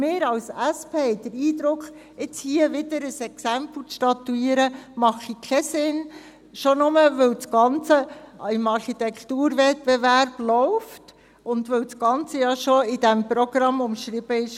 Wir als SP haben den Eindruck, es mache keinen Sinn, hier wieder ein Exempel zu statuieren, schon nur deshalb nicht, weil das Ganze im Architekturwettbewerb läuft und es im Programm bereits umschrieben war.